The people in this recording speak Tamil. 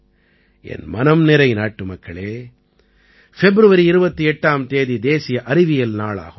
என் மனம்நிறை நாட்டுமக்களே ஃபெப்ருவரி 28ஆம் தேதி தேசிய அறிவியல் நாள் ஆகும்